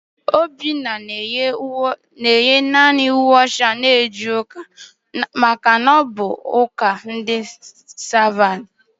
Obinna na-eyi naanị uwe ọcha eje ụka n'ihi na ọ bụ onye ụka Sabat.